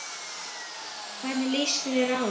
Hvernig lýsir þú þér?